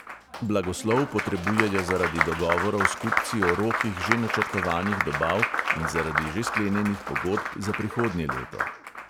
Blagoslov potrebujejo zaradi dogovorov s kupci o rokih že načrtovanih dobav in zaradi že sklenjenih pogodb za prihodnje leto.